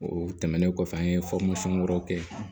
O tɛmɛnen kɔfɛ an ye wɛrɛw kɛ